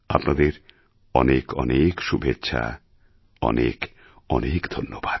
আপনাদের অনেক অনেক শুভেচ্ছা অনেক অনেক ধন্যবাদ